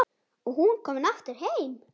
Og hún komin aftur heim.